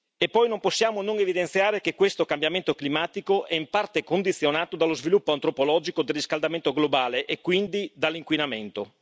E poi non possiamo non evidenziare che questo cambiamento climatico è in parte condizionato dallo sviluppo antropologico del riscaldamento globale e quindi dall'inquinamento.